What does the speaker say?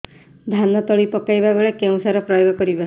ଧାନ ତଳି ପକାଇବା ବେଳେ କେଉଁ ସାର ପ୍ରୟୋଗ କରିବା